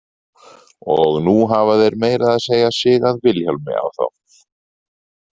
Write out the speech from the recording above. Og nú hafa þeir meira að segja sigað Vilhjálmi á þá.